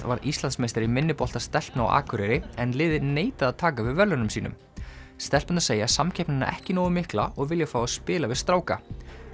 varð Íslandsmeistari í minnibolta stelpna á Akureyri en liðið neitaði að taka við verðlaunum sínum stelpurnar segja samkeppnina ekki nógu mikla og vilja fá að spila við stráka